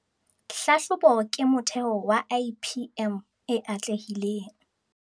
Hlahlobo ke motheho wa IPM e atlehileng